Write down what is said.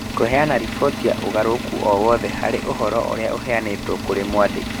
Kũheana riboti ya ũgarũrũku o wothe harĩ ũhoro ũrĩa ũheanĩtwo kũrĩ mwandĩki.